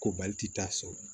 Ko baliti t'a sɔrɔ